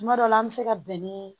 Kuma dɔ la an bɛ se ka bɛn ni